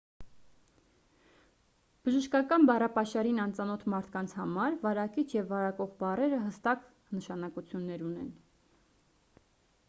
բժշկական բառապաշարին անծանոթ մարդկանց համար վարակիչ և վարակող բառերը հստակ նշանակություններ ունեն